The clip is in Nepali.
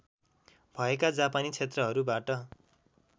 भएका जापानी क्षेत्रहरूबाट